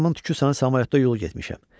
Başımın tükü sənə samalyotda yol getmişəm.